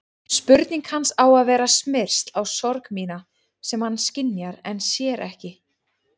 Spurning hans á að vera smyrsl á sorg mína sem hann skynjar en sér ekki.